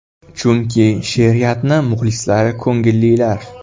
Chunki, she’riyatni muxlislari ko‘ngillar.